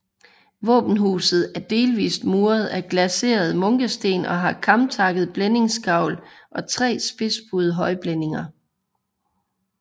Våbenhuset er delvist muret af glaserede munkesten og har kamtakket blændingsgavl og tre spidsbuede højblændinger